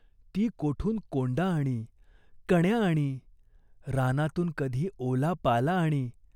ती कोठून कोंडा आणी, कण्या आणी. रानातून कधी ओला पाला आणी.